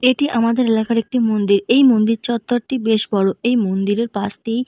এটি আমাদের এলাকার একটি মন্দির। এই মন্দির চত্বরটি বেশ বড়। এই মন্দির -এর পাশ দিয়ে--